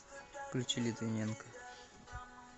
включи литвиненка